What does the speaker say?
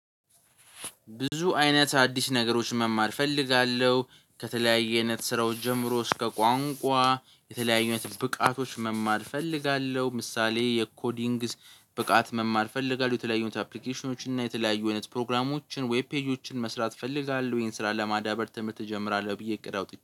ብዙ አይነት አዲስ ነገሮች መማር እፈልጋለሁ ከተለያየ አይነት ስራዎች ጀምሮ እስከ ቋንቋ የተለያዩ አይነት ብቃቶች መማር እፈልጋለሁ ምሳሌ የኮዲንግስ ብቃት መማር እፈልጋለሁ። የተለያዩ አፕሊኬሽኖችን እና የተለያዩ አይነት ፕሮግራሞችን ዌብ ፔጆችን መስራት እፈልጋለሁ ወይም ስራ ለማዳበር ትምህርት እጀምራለሁ ብዬ እቅድ አውጥቼ